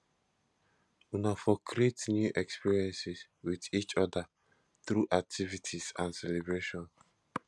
una for create new experiences with each oda through activities and celebration